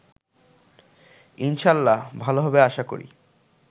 ইনশাল্লাহ ভাল হবে আশা করি